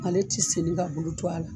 Ale ti segin ka bulu to a la.